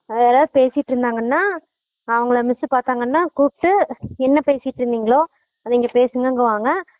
அங்க யாறது பேசிட்டு இருந்தாங்கனா அவங்கள miss பாத்தாங்கனா கூப்ட்டு என்ன பேசிட்டு இருந்திங்களோ அத இங்க பேசுங்கனு வாங்க